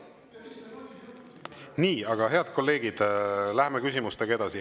Nii, aga head kolleegid, läheme küsimustega edasi.